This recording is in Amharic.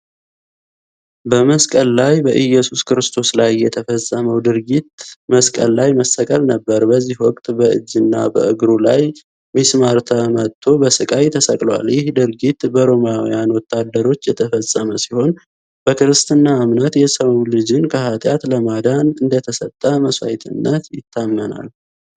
በመስቀል ላይ፣ በኢየሱስ ክርስቶስ ላይ የተፈጸመው ድርጊት መስቀል ላይ መሰቀል ነበር። በዚህ ወቅት በእጅና በእግሩ ላይ ሚስማር ተመቶ በስቃይ ተሰቅሏል። ይህ ድርጊት በሮማውያን ወታደሮች የተፈጸመ ሲሆን፣ በክርስትና እምነት የሰው ልጅን ከኃጢአት ለማዳን እንደተሰጠ መስዋዕትነት ይታመናል።